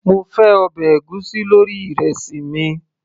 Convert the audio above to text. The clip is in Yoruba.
mo fẹ́ ọbẹ̀ ègúsí lórí ìrẹsì mi